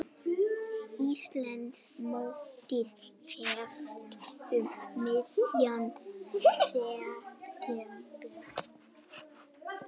Íslandsmótið hefst um miðjan september